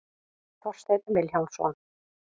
Þorsteinn Vilhjálmsson.